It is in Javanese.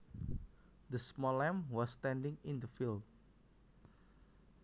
The small lamb was standing in the field